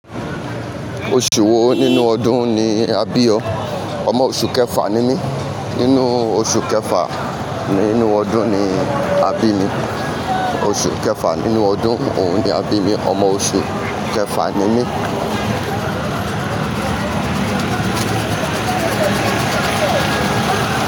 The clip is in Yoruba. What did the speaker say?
Oṣù wo nínú ọdún ni a bí ọ? Omo oṣù kẹfà ni mí. Nínú oṣù kẹfà nínú ọdún ni a bí mi. Oṣù kẹfà nínú ọdún òun ni a bí mi. Omo oṣù kẹfà ni mí.